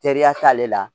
Teriya t'ale la